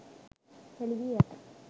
හෙළි වී ඇත.